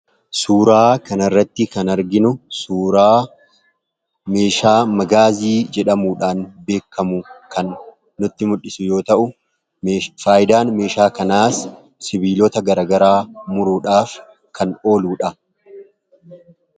Suuraa kanarratti kan arginu suuraa meeshaa Magaazii jedhamuudhaan beekkamu kan nutti mul'isu yoo ta'u, faayidaan meeshaa kanaas sibiilota garagaraa muruudhaaf kan ooluudha.